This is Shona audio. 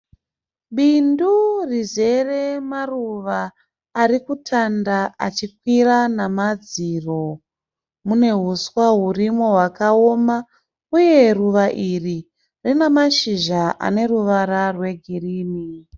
Bindu rizere maruva ari kutanda achikwira namadziro. Mune huswa hurimo hwakaoma uye ruva iri rine mashizha ane ruvara rwegirinhi.